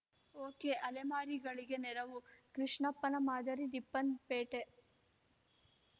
ಓಕೆಅಲೆಮಾರಿಗಳಿಗೆ ನೆರವು ಕೃಷ್ಣಪ್ಪನ ಮಾದರಿ ರಿಪ್ಪನ್‌ಪೇಟೆ